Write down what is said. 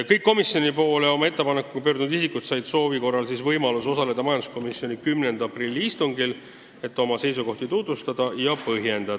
Kõik komisjoni poole oma ettepanekuga pöördunud isikud said soovi korral osaleda majanduskomisjoni 10. aprilli istungil, et oma seisukohti tutvustada ja põhjendada.